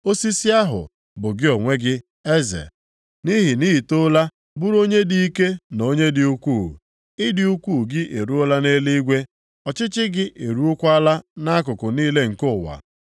osisi ahụ bụ gị onwe gị, eze. Nʼihi na i toola bụrụ onye dị ike na onye dị ukwuu. Ịdị ukwu gị eruola nʼeluigwe. Ọchịchị gị eruokwala nʼakụkụ niile nke ụwa.